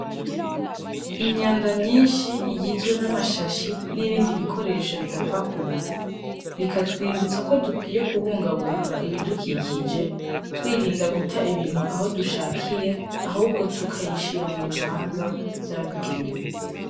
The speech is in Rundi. Imyanda myishi igizwe n'amashashi n'ibindi bikoresho bidapfa kubora bikatwibutsa ko dukwiye kubungabunga ibidukikije twirinda guta ibintu aho dushakiye ahubwo tukayishira mu bibanza vyabigenewe.